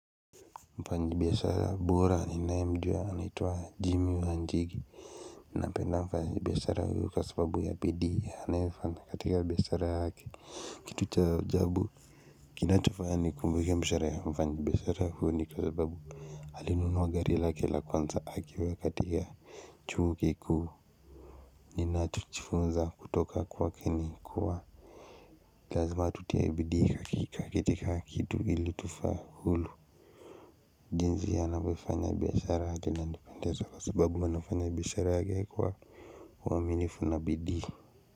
Mfanyi biashara bora ninae mjua anitwa Jimmy wa Njigi Napenda mfanyi biashara huyu kwa sababu ya bidii anaefanya katika biashara yake. Kitu cha ajabu kinachofanya nikumbuke mshahara ya mfanyi biashara huyu ni kwa sababu Alinunuwa gari lake la kwanza akiwa katika chuo kikuu ninacho jifunza kutoka kwake ni kuwa Lazima tutie bidii kwa kila kitu ili tufaulu jinsi anavyo fanya biashara inanipendeza kwa sababu wanafanya biashara kwa uaminifu na bidii.